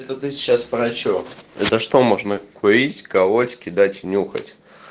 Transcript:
это ты сейчас про что это что можно курить колоть кидать нюхать